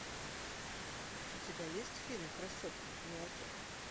у тебя есть фильм красотки в молоке